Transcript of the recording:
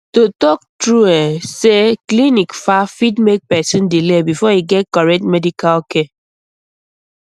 to talk um true say clinic um far fit make person um delay before e get correct medical care